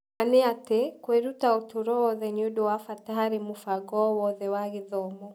Ma nĩ atĩ, kwĩruta ũtũũro wothe nĩ ũndũ wa bata harĩ mũbango o wothe mwega wa gĩthomo.